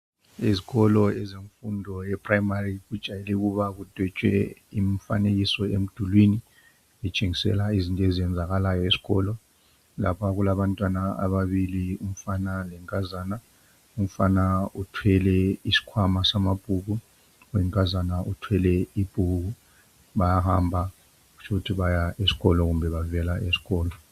Izikolo zemfundo eyePrimary ijayele ukuba kudotshwe imifanekiso emdulwini etshengisela izinto ezenzakalayo esikolo. Lapha kulabantwana ababili umfana lenkazana. Umfana uthwele isikhwama samabhuku unkazana uthwele ibhuku bayahamba kutsho ukuthi baya kumbe bavela esikolo.